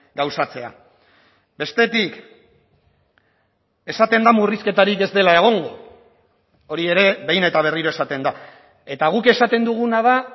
gauzatzea bestetik esaten da murrizketarik ez dela egongo hori ere behin eta berriro esaten da eta guk esaten duguna da